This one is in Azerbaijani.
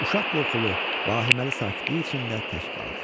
Uşaq qorxulu, vahiməli sakitlik içində tək qaldı.